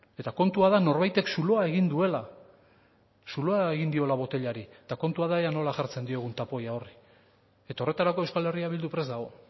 eta kontua da norbaitek zulo egin duela zuloa egin diola botilari eta kontua da ea nola jartzen diogun tapoia horri eta horretarako euskal herria bildu prest dago